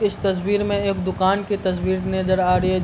इस तस्वीर में एक दुकान की तस्वीर नजर आ रही है।